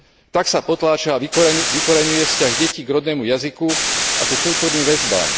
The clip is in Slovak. Tak sa potláča a vykoľajuje vzťah detí k rodnému jazyku a ku kultúrnym väzbám.